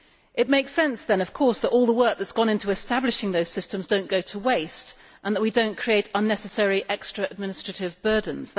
It makes sense, then, that all the work that has gone into establishing those systems does not go to waste and that we do not create unnecessary extra administrative burdens